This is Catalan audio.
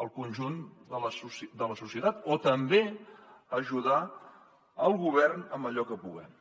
al conjunt de la societat o també ajudar el govern en allò que puguem